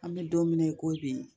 An bɛ don min na i ko bi